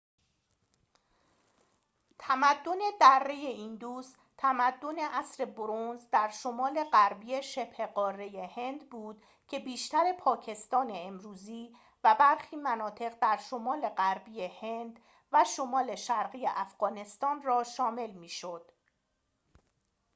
تمدن دره ایندوس تمدن عصر برنز در شمال غربی شبه قاره هند بود که بیشتر پاکستان امروزی و برخی مناطق در شمال غربی هند و شمال شرقی افغانستان را شامل می شد